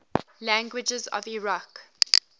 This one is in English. languages of iraq